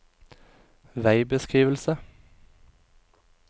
veibeskrivelse